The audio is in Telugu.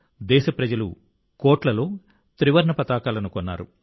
దేశప్రజలు కోట్లలో త్రివర్ణ పతాకాలను కొన్నారు